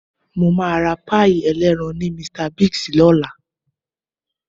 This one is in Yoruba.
Mo máa ra páì ẹlẹ́ran ní Mr Biggs lọ́la